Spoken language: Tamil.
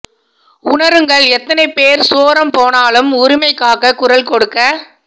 உணருங்கள் எத்தனை பேர் சோரம் போனாலும் உரிமைக் காக குரல் கொடுக்க